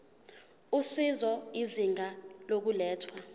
usizo izinga lokulethwa